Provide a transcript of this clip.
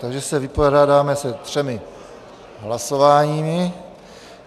Takže se vypořádáme se třemi hlasováními.